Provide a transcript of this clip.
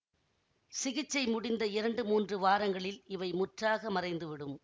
சிகிச்சை முடிந்த இரண்டு மூன்று வாரங்களில் இவை முற்றாக மறைந்து விடும்